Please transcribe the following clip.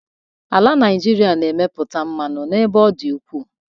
Ala Nigeria na-emeputa mmanụ n'ebe ọ dị ukwu.